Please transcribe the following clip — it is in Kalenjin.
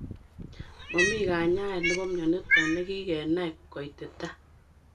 Mamii kenyaet nepo mionitok nekikenai koititaa.